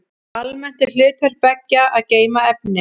Almennt er hlutverk beggja að geyma efni.